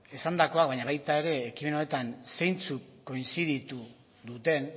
esandakoa baina baita ere ekimen honetan zeintzuk koinziditu duten